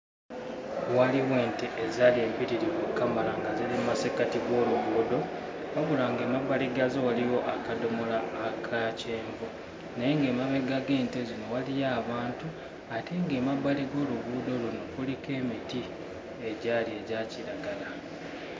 Waliwo nte ezaali empitirivu okkamala nga ziri mmasekkati g'oluguudo wabula ng'emabbali gaazo waliwo akadomola aka kyenvu naye ng'emabega g'ente zino waliyo abantu ate ng'emabbali g'oluguudo luno kuliko emiti egyali egya kiragala.